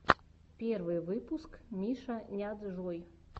первый выпуск мишаняджой